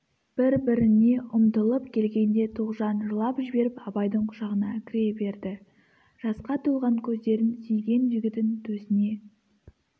бір-біріне ұмтылып келгенде тоғжан жылап жіберіп абайдың құшағына кіре берді жасқа толған көздерін сүйген жігітін төсіне